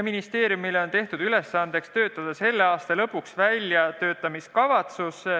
Ministeeriumile on tehtud ülesandeks koostada selle aasta lõpuks väljatöötamiskavatsus.